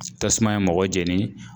Tasuma ye mɔgɔ jɛni.